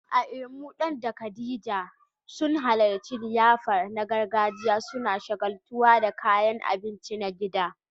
A Imo, Dan da Khadija sun halarci liyafa na gargajiya, suna shagaltuwa da kayan abinci na gida.